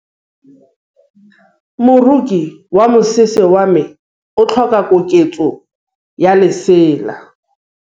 Moroki wa mosese wa me o tlhoka koketsô ya lesela.